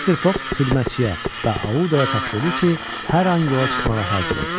Mr. Foq xidmətçiyə və Audaya tapşırdı ki, hər an yola çıxmağa hazır olsunlar.